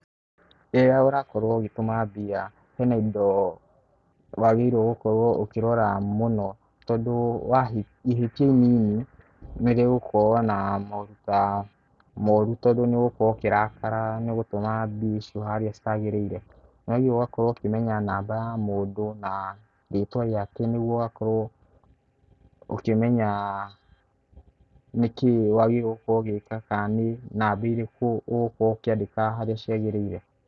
Rĩrĩa ũrakorwo ũgĩtũma mbia hena indo wagĩrĩirwo gũkora ũkĩrora mũno tondũ ihĩtia inini nĩ rĩgũkorwo na moruta moru tondũ nĩ ũgũkorwo ũkĩrakara nĩ gũtũma mbia icio harĩa itagĩrĩire. Nĩ wagĩrĩirwo ũgakorwo ũkimenya namba ya mũndũ na rĩtwa rĩake nĩguo ũgakorwo ũkimenya nĩkĩĩ wagĩrĩirwo gũkorwo ũgĩka kana nĩ namba irĩkũ ũgũkorwo ũkĩandĩka harĩa ciagĩrĩire.